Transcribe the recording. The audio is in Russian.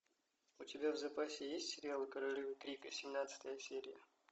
у тебя в запасе есть сериал королевы крика семнадцатая серия